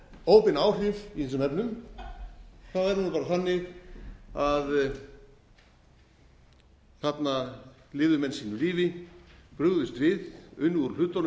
óbein áhrif í þessum efnum er það bara þannig að þarna lifðu menn sínu lífi brugðust við unnu úr hlutunum